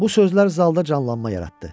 Bu sözler zalda canlanma yaratdı.